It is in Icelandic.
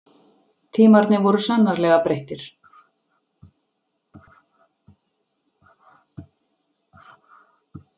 Tímarnir voru sannarlega breyttir.